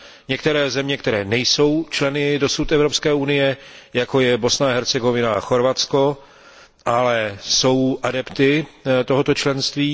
některých zemí, které dosud nejsou členy Evropské unie, jako je Bosna a Hercegovina a Chorvatsko, ale jsou adepty tohoto členství.